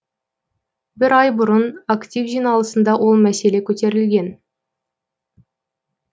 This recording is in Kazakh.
бір ай бұрын актив жиналысында ол мәселе көтерілген